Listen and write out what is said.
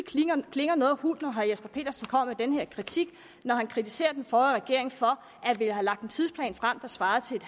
klinger noget hult når herre jesper petersen kommer med den her kritik når han kritiserer den forrige regering for at ville have lagt en tidsplan frem der svarede til en